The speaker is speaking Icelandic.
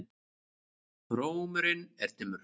Rómurinn er dimmur.